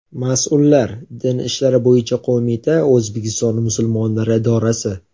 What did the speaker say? Mas’ullar - Din ishlari bo‘yicha qo‘mita, O‘zbekiston musulmonlari idorasi.